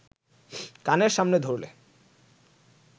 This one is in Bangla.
কানের সামনে ধরলে